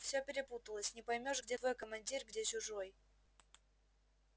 все перепуталось не поймёшь где твой командир где чужой